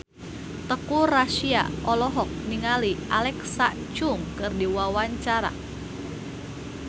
Teuku Rassya olohok ningali Alexa Chung keur diwawancara